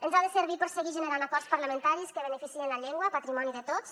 ens ha de servir per seguir generant acords parlamentaris que beneficiïn la llengua patrimoni de tots